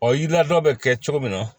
Ɔ yiriladɔ bɛ kɛ cogo min na